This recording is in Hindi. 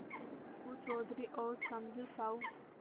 अलगू चौधरी और समझू साहु